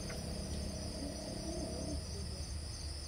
микс ли кей на ютьюбе